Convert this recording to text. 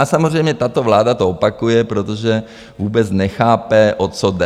A samozřejmě tato vláda to opakuje, protože vůbec nechápe, o co jde.